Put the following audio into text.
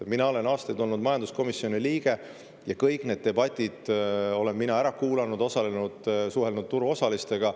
Mina olen aastaid olnud majanduskomisjoni liige ja kõik need debatid olen mina ära kuulanud, neis osalenud, suhelnud turuosalistega.